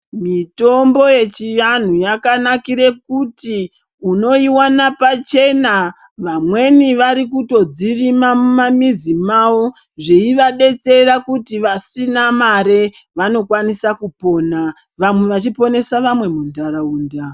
Mitombo yechianhu yakanakire kuti unoiwana pachena vamweni varikutodzirima mumamizi mavo, zveivadetsera kuti vasina mare vanokwanisa kupona, vamwe vachiponesa vamwe mundaraunda.